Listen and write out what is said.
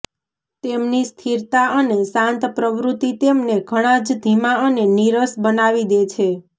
તેમની સ્થિરતા અને શાંત પ્રવૃત્તિ તેમને ઘણાં જ ધીમા અને નીરસ બનાવી દે છે